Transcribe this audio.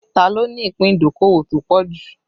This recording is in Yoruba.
Ta ló ní ìpín ìdókòwò tó pọ̀ jù?